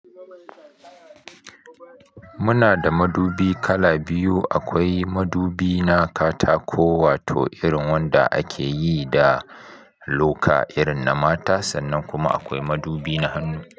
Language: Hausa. Muna da madubi kala biyu, akwai madubi na katako wato irin wanda ake yi da loka irin na mata sannan kuma akwai madubi na hannu.